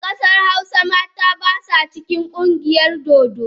A kasar hausa mata ba sa cikin kungiyar dodo.